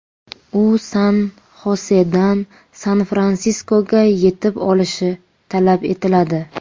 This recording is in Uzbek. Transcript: U San-Xosedan San-Fransiskoga yetib olishi talab etiladi.